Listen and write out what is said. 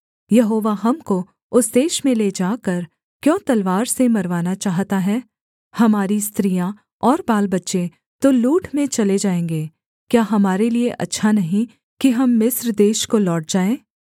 यहोवा हमको उस देश में ले जाकर क्यों तलवार से मरवाना चाहता है हमारी स्त्रियाँ और बालबच्चे तो लूट में चले जाएँगे क्या हमारे लिये अच्छा नहीं कि हम मिस्र देश को लौट जाएँ